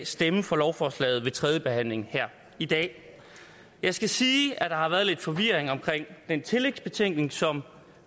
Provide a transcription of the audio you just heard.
stemme for lovforslaget ved tredjebehandlingen her i dag jeg skal sige at der har været lidt forvirring omkring den tillægsbetænkning som